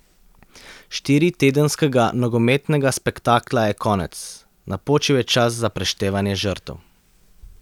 Štiritedenskega nogometnega spektakla je konec, napočil je čas za preštevanje žrtev.